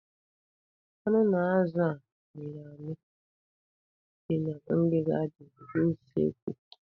Anụ na azụ a mịrị amị dị na ngịga dị n'usekwu.